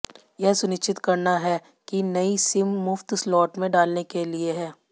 यह सुनिश्चित करना है कि नई सिम मुफ्त स्लॉट में डालने के लिए है